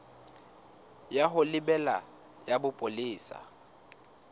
ya ho lebela ya bopolesa